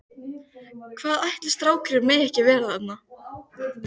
Hvað ætli strákurinn megi ekki vera þarna?